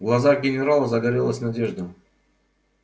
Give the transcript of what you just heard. в глазах генерала загорелась надежда